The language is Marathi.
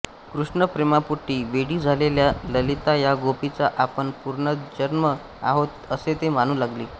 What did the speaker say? कृष्णप्रेमापोटी वेडी झालेल्या ललिता या गोपीचा आपण पुनर्जन्म आहोत असे ती मानू लागली